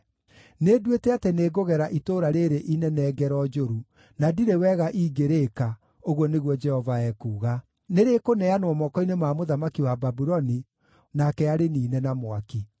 Nĩnduĩte atĩ nĩngũgera itũũra rĩĩrĩ inene ngero njũru, na ndirĩ wega ingĩrĩĩka, ũguo nĩguo Jehova ekuuga. Nĩrĩkũneanwo moko-inĩ ma mũthamaki wa Babuloni, nake arĩniine na mwaki.’